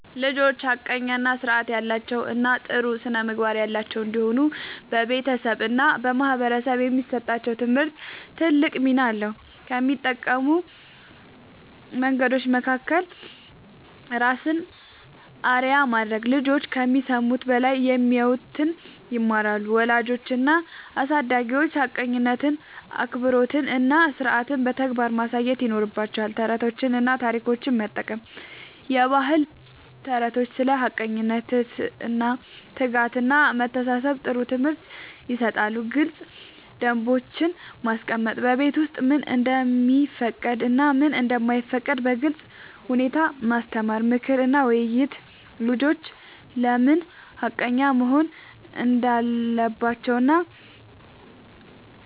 ልጆች ሐቀኛ፣ ሥርዓት ያላቸው እና ጥሩ ስነ-ምግባር ያላቸው እንዲሆኑ በቤተሰብ እና በማህበረሰብ የሚሰጣቸው ትምህርት ትልቅ ሚና አለው። ከሚጠቅሙ መንገዶች መካከል፦ ራስን አርአያ ማድረግ፦ ልጆች ከሚሰሙት በላይ የሚያዩትን ይማራሉ። ወላጆች እና አሳዳጊዎች ሐቀኝነትን፣ አክብሮትን እና ሥርዓትን በተግባር ማሳየት ይኖርባቸዋል። ተረቶችን እና ታሪኮችን መጠቀም፦ የባህል ተረቶች ስለ ሐቀኝነት፣ ትህትና፣ ትጋት እና መተሳሰብ ጥሩ ትምህርት ይሰጣሉ። ግልጽ ደንቦች ማስቀመጥ፦ በቤት ውስጥ ምን እንደሚፈቀድ እና ምን እንደማይፈቀድ በግልጽ ሁኔታ ማስተማር። ምክር እና ውይይት፦ ልጆች ለምን ሐቀኛ መሆን እንዳለባቸው እና